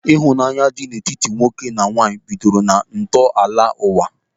Ịhụnanya dị n'etiti nwoke na nwaanyị bidoro na ntọala ụwa.